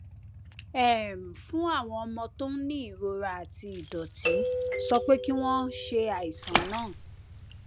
um fún àwọn ọmọ tó ń ní ìrora àti ìdòtí sọ pé kí wón ṣe àìsàn náà